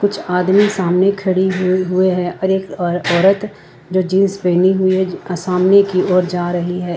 कुछ आदमी सामने खड़ी हुई हुए है एक औरत जो जींस पहने हुए सामने की ओर जा रही है।